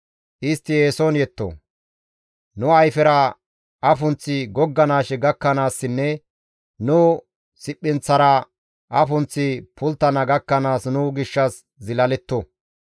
Istti eeson yetto; nu ayfera afunththi gogganaashe gakkanaassinne nu siphinththara afunththi pulttana gakkanaas nu gishshas zilaletto.